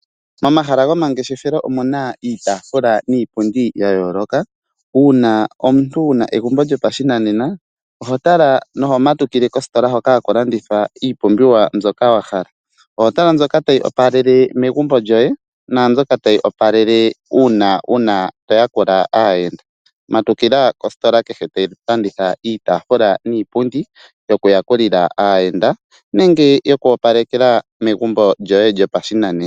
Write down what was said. Momahala gomangeshefelo omuna iitafula niipundi ya yooloka. Uuna omuntu wuna egumbo lyopashinanena oho tala na oho matukile kositola ndjoka haku landithwa iipumbiwa mboka wa hala. Oho tala mbyoka tayi opalele megumbo lyoye, naambyoka tayi opalele uuna to yakula aayenda. Matukila kositola kehe tayi landitha iitafula niipundi yokuyakulila aayenda, nenge yoku opalekela megumbo lyoye lyopashinanena.